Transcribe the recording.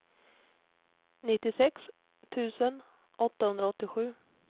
nittiosex tusen åttahundraåttiosju